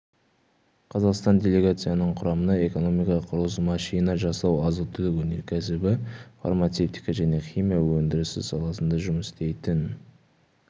қазақстандық делегацияның құрамына экономика құрылыс машина жасау азық-түлік өнеркәсібі фармацевтика және химия өндірісі саласында жұмыс істейтін